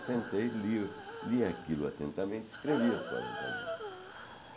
Eu sentei, li li aquilo atentamente, escrevi as quarenta linhas.